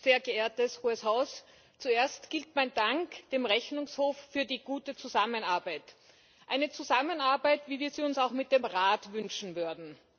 Frau Präsidentin, sehr geehrtes Hohes Haus! Zuerst gilt mein Dank dem Rechnungshof für die gute Zusammenarbeit eine Zusammenarbeit, wie wir sie uns auch mit dem Rat wünschen würden.